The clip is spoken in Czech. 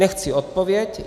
Nechci odpověď.